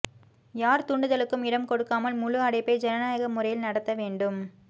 யார் தூண்டுதலுக்கும் இடம் கொடுக்காமல் முழு அடைப்பை ஜனநாயக முறையில் நடத்த வேண்டும்